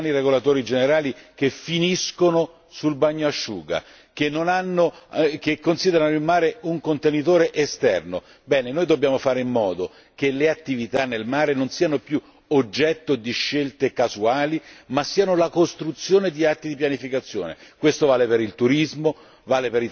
Vedete, noi abbiamo la cultura dei piani regolatori generali che finiscono sul bagnasciuga, che considerano il mare un contenitore esterno, bene, noi dobbiamo fare in modo che le attività nel mare non siano più oggetto di scelte casuali, ma siano la costruzione di atti di pianificazione.